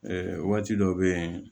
waati dɔ bɛ yen